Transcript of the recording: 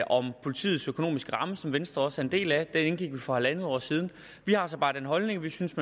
om politiets økonomiske ramme som venstre også er en del af den indgik vi for en en halv år siden vi har så bare den holdning at vi synes